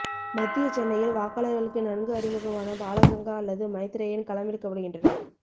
மத்திய சென்னையில் வாக்காளர்களுக்கு நன்கு அறிமுகமான பாலகங்கா அல்லது மைத்ரேயன் களமிறக்கப்படுகின்றனர்